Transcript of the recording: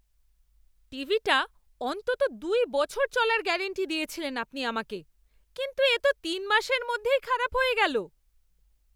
টিভিটা অন্তত দুই বছর চলার গ্যারাণ্টি দিয়েছিলেন আপনি আমাকে, কিন্তু এ তো তিন মাসের মধ্যেই খারাপ হয়ে গেল!